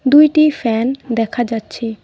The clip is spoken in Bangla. দুইটি ফ্যান দেখা যাচ্ছে।